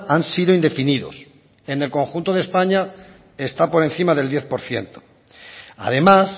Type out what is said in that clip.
han sido indefinidos en el conjunto de españa está por encima del diez por ciento además